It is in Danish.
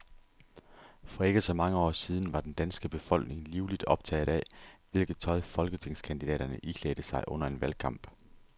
For ikke så mange år siden var den danske befolkning livligt optaget af, hvilket tøj folketingskandidaterne iklædte sig under en valgkamp.